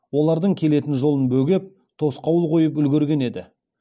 олардың келетін жолын бөгеп тосқауыл қойып үлгерген еді